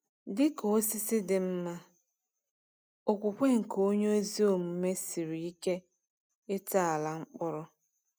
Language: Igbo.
Dị ka osisi dị mma, okwukwe nke onye ezi omume siri ike ịtọala mkpụrụ.